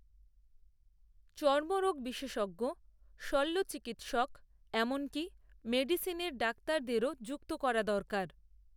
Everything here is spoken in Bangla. চর্মরোগ বিশেষজ্ঞ, শল্য চিকিত্সক, এমনকী মেডিসিনের ডাক্তারদেরও, যুক্ত করা দরকার